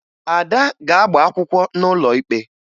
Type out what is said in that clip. Ada ga-agba akwụkwọ n'ụlọ ikpe